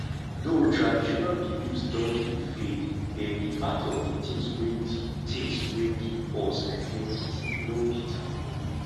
though traditional beliefs don dey fade dem be part of di things wey di things wey give us identity no be taboo